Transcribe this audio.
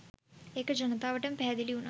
ඒක ජනතාවට පැහැදිලි වුනා.